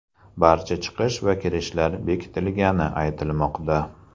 Barcha chiqish va kirishlar bekitilgani aytilmoqda.